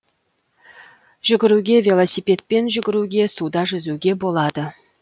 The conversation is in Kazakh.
жүгіруге велосипедпен жүгіруге суда жүзуге болады